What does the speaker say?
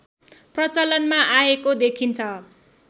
प्रचलनमा आएको देखिन्छ